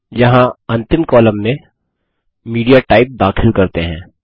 यहाँ अंतिम कॉलम में मीडियाटाइप दाखिल करते हैं